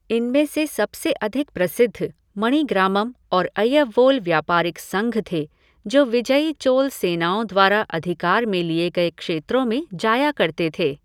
इनमें से सबसे अधिक प्रसिद्ध मणिग्रामम् और अय्यवोल व्यापारिक संघ थे जो विजयी चोल सेनाओं द्वारा अधिकार में लिए गए क्षेत्रों में जाया करते थे।